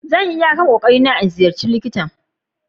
Zan yi iyakan kokeri na 'n gan likitan.